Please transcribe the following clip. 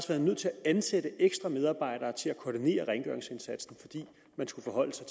været nødt til at ansætte ekstra medarbejdere til at koordinere rengøringsindsatsen fordi man skulle forholde sig